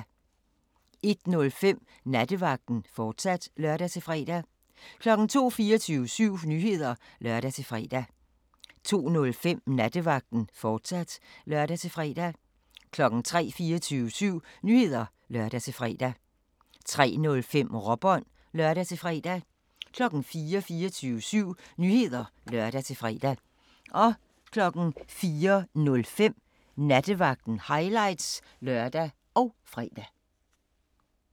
01:05: Nattevagten, fortsat (lør-fre) 02:00: 24syv Nyheder (lør-fre) 02:05: Nattevagten, fortsat (lør-fre) 03:00: 24syv Nyheder (lør-fre) 03:05: Råbånd (lør-fre) 04:00: 24syv Nyheder (lør-fre) 04:05: Nattevagten – highlights (lør og fre)